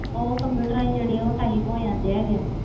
ਉਹ ਕੰਪਿਊਟਰ ਜਰੀਏ type ਹੋ ਜਾਂਦੇ ਆ